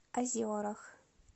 озерах